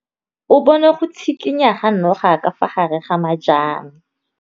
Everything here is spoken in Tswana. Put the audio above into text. O bone go tshikinya ga noga ka fa gare ga majang.